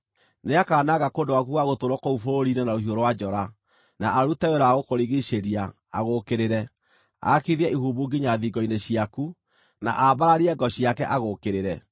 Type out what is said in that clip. Nĩakananga kũndũ gwaku gwa gũtũũrwo kũu bũrũri-inĩ na rũhiũ rwa njora, na arute wĩra wa gũkũrigiicĩria, agũũkĩrĩre, aakithie ihumbu nginya thingo-inĩ ciaku, na ambararie ngo ciake agũũkĩrĩre.